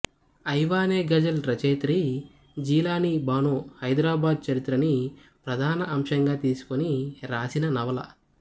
ఐవానే గజల్ రచయిత్రి జీలానీ బానో హైదరాబాద్ చరిత్రని ప్రధాన అంశంగా తీసుకొని రాసిన నవల